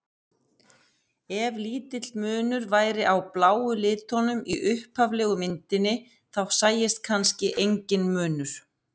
Ef lítill munur væri á bláu litunum í upphaflegu myndinni þá sæist kannski enginn munur.